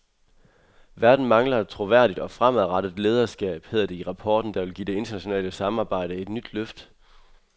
Verden mangler et troværdigt og fremadrettet lederskab, hedder det i rapporten, der vil give det internationale samarbejde et nyt løft.